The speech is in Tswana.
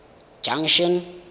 junction